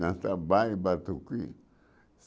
Dança baile, batuque.